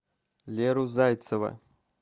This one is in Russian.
леру зайцева